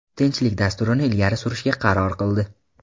tinchlik dasturini ilgari surishga qaror qildi.